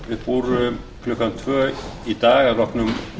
upp úr klukkan tvö í dag að loknum